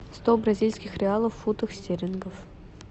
сто бразильских реалов в фунтах стерлингов